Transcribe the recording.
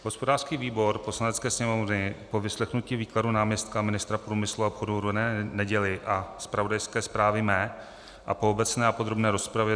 Hospodářský výbor Poslanecké sněmovny po vyslechnutí výkladu náměstka ministra průmyslu a obchodu René Neděly a zpravodajské zprávě mé a po obecné a podrobné rozpravě